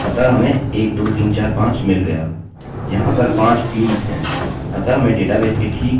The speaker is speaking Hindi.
अतः हमें 12345 मिल गया